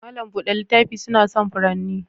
Mallam buɗe littafi suna son furanni.